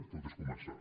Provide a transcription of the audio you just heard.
tot és començar